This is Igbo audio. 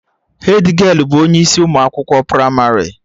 Hedgialụ bụ onye isi ụmụ akwụkwọ pramarị